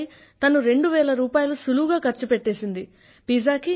ఒక చీరపై తను రెండువేల రూపాయలు సులువుగా ఖర్చు పెట్టింది